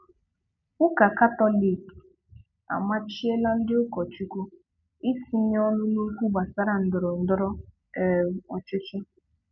Ụka katọlik amachiela ndị ụkọchukwu itinye ọnụ n'okwu gbasara ndọrọndọrọ um ọchịchị